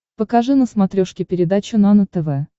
покажи на смотрешке передачу нано тв